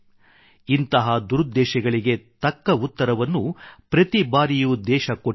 ಇಂತಹ ದುರುದ್ದೇಶಗಳಿಗೆ ತಕ್ಕ ಉತ್ತರವನ್ನು ಪ್ರತಿಬಾರಿಯೂ ದೇಶ ಕೊಟ್ಟಿದೆ